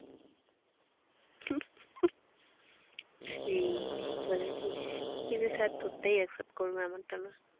সেই, ঠিক বলেছিস। কিন্তু স্যার তোরটাই accept করবে আমারটা না।